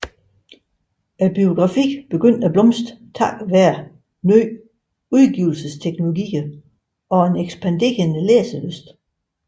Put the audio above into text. Biografi begyndte at blomstre takket være ny udgivelse teknologier og en ekspanderende læselyst